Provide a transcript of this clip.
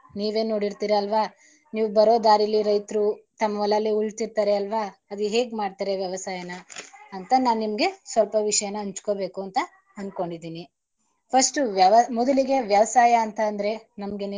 ನೀವೇ ನೋಡಿರ್ತೀರ ಅಲ್ವಾ ನೀವ್ ಬರೋ ದಾರಿಲಿ ರೈತರು ತಮ್ ಹೊಲದಲ್ಲಿ ಉಳ್ತಿರ್ತಾರೆ ಅಲ್ವಾ ಅದು ಹೇಗ್ ಮಾಡ್ತಾರೆ ವ್ಯವಸಾಯನ ಅಂತ ನಾನ್ ನಿಮಗೆ ಸ್ವಲ್ಪ ವಿಷಯನ ಹಂಚಕೋಬೇಕು ಅಂತ ಅನ್ಕೊಂಡಿದಿನಿ. first ವ್ಯವ ಮೊದಲಿಗೆ ವ್ಯವಸಾಯ ಅಂತ ಅಂದ್ರೆ ನಮ್ಗೆ.